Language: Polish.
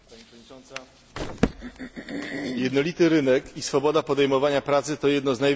Jednolity rynek i swoboda podejmowania pracy to jedne z największych dobrodziejstw integracji europejskiej.